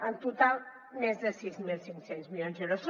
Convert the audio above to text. en total més de sis mil cinc cents milions d’euros